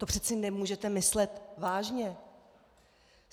To přece nemůžete myslet vážně!